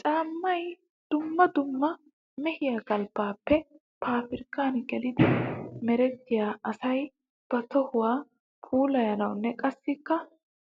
Caamay dumma dumma mehiya galbbappe paabirkkan geliddi merettiya asaa ba tohuwa puulayanawunne qassikka